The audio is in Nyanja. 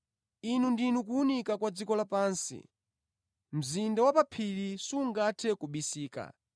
“Inu ndinu kuwunika kwa dziko lapansi. Mzinda wa pa phiri sungathe kubisika.